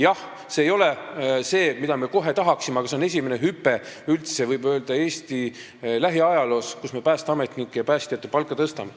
Jah, see ei ole see, mida me kohe tahaksime, aga see on suur hüpe ja võib öelda, et Eesti lähiajaloos üldse esimene kord, kui me päästeametnike ja päästjate palka tõstame.